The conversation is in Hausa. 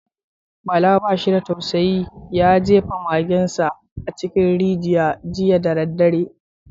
Bala ba shi da tausayi, ya jefa magensa a cikin rijiya jiya da daddare.